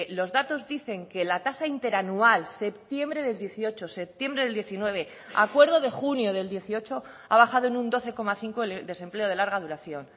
los datos dicen que la tasa interanual septiembre del dieciocho septiembre del diecinueve acuerdo de junio del dieciocho ha bajado en un doce coma cinco el desempleo de larga duración